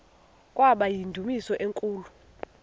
kwaba yindumasi enkulu